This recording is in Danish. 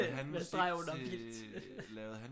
Med streg under vildt